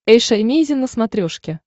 эйша эмейзин на смотрешке